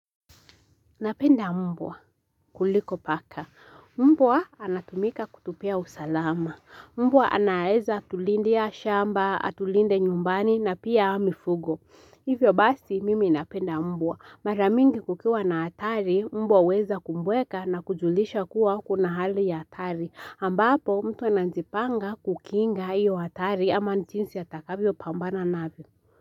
Napenda mbwa kuliko paka. Mbwa anatumika kutupia usalama. Mbwa anaezatulindia shamba, atulinde nyumbani na pia mifugo. Hivyo basi mimi napenda mbwa. Mara mingi kukiwa na atari, mbwa huweza kumbweka na kujulisha kuwa kuna hali ya tari. Ambapo mtu anajipanga kukinga hiyo hatari ama nchinsi atakavyo pambana navyo.